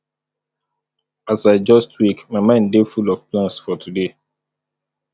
as i just wake my mind dey full of plans for today